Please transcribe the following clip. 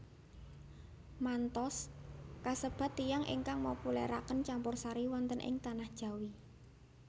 Manthous kasebat tiyang ingkang mopuleraken campursari wonten ing tanah Jawi